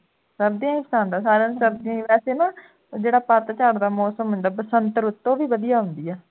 ਸਰਦੀਆਂ ਹੀ ਪਸੰਦ ਹੈ ਸਾਰਿਆਂ ਨੂੰ ਸਰਦੀਆਂ ਹੀ ਵੈਸੇ ਨਾ ਜਿਹੜਾ ਪਤਝੜ ਦਾ ਮੌਸਮ ਹੁੰਦਾ ਹੈ ਬਸੰਤ ਰੁੱਤ ਉਹ ਵੀ ਵਧੀਆ ਹੁੰਦੀ ਹੈ